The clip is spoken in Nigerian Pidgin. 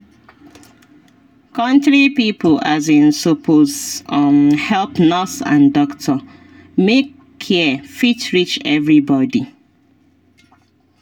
country pipo um suppose um help nurse and doctor make care fit reach everybody.